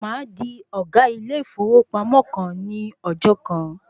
Màá di ọ̀gá ilé ìfowópamọ́ kan ní ọjọ́ kan.